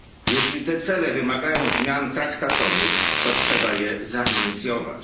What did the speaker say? Jeśli te cele wymagają zmian traktatowych, to trzeba je zainicjować.